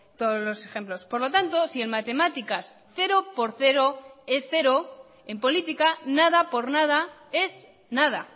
todos los ejemplos por lo tanto si en matemáticas cero por cero es cero en política nada por nada es nada